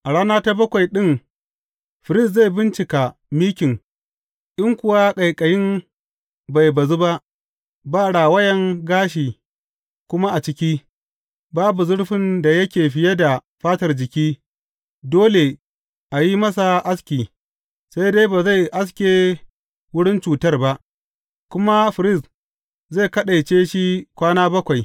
A rana ta bakwai ɗin firist zai bincika mikin in kuwa ƙaiƙayin bai bazu ba, ba rawayan gashi kuma a ciki, babu zurfin da yake fiye da fatar jiki, dole a yi masa aski, sai dai ba zai aske wurin cutar ba, kuma firist zai kaɗaice shi kwana bakwai.